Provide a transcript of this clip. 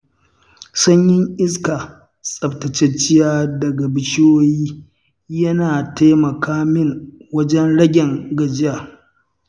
Sanyin iska tsaftatacciya daga bishiyoyi, yana taimaka min wajen ragen gajiya.